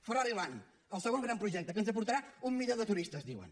ferrari land el segon gran projecte que ens aportarà un milió de turistes diuen